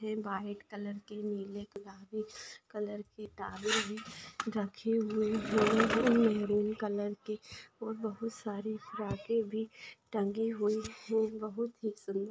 white colour के नीले colour के गुलाबी कलर के टावेल भी रखे हुए है महरून कलर के और बहुत सारी फ्राके भी टंगे हुए है बहुत ही सुंदर--